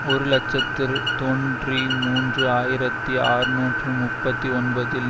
ஒரு இலட்சத்து தொன்றி மூன்று ஆயிரத்தி அறுநூற்று முப்பத்தி ஒன்பதில்